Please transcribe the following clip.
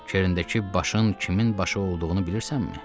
Kerindəki başın kimin başı olduğunu bilirsənmi?